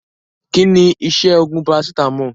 Kínní iṣẹ́ oògùn paracetamol?